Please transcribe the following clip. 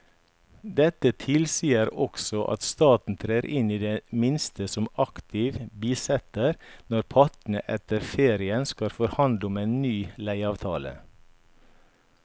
Dette tilsier også at staten trer inn i det minste som aktiv bisitter når partene etter ferien skal forhandle om en ny leieavtale.